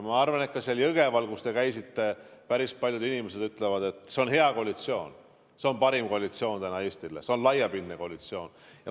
Ma arvan, et ka seal Jõgeval, kus te käisite, päris paljud inimesed ütlevad, et see on hea koalitsioon, see on parim koalitsioon täna Eestile, see on laiapindne koalitsioon.